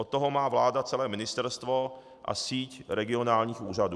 Od toho má vláda celé ministerstvo a síť regionálních úřadů.